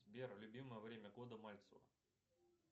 сбер любимое время года мальцева